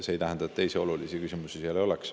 See ei tähenda muidugi, et teisi olulisi küsimusi seal ei oleks.